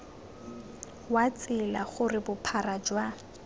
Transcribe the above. wa tsela gore bophara jwa